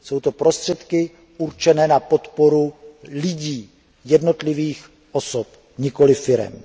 Jsou to prostředky určené na podporu lidí, jednotlivých osob, nikoli firem.